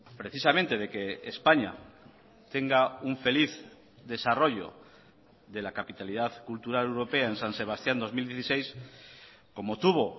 precisamente de que españa tenga un feliz desarrollo de la capitalidad cultural europea en san sebastián dos mil dieciséis como tuvo